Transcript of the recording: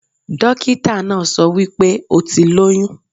Dókítà náà so wípé o ti lóyún